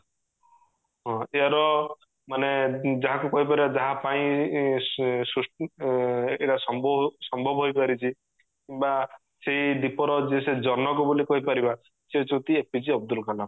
ହଁ ଏହାର ମାନେ ଯାହାକୁ କହିପାରିବା ଯାହା ପାଇଁ ସୃଷ୍ଟି ଏଇଟା ସ ସମ୍ଭବ ହୋଇପାରିଚି ବା ସେଇ ଦ୍ଵିପ ର ଯେ ସେ ଜନକ ବୋଲି କହିପାରିବା ସେ ହେଉଛନ୍ତି APJ ଅବଦୁଲକଲାମ